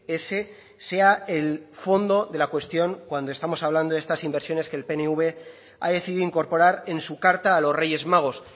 ese sea el fondo de la cuestión cuando estamos hablando de estas inversiones que el pnv ha decidido incorporar en su carta a los reyes magos